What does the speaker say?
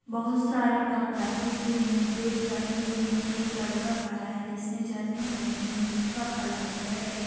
बहोत सारे कप रखे हुए हैं ब्रेड रखे हुए हैं एक लड़का खड़ा है जिसने जर्किन पहनी है जिसका कलर ब्लैक है।